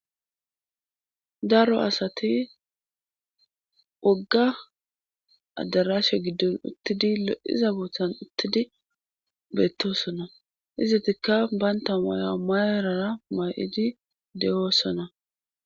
daro asati wogga addarashe giddon uttidi lo7iza boothan uttidi beettosona izatikka banta maya mayarara maa7idi de7oossona